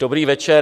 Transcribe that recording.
Dobrý večer.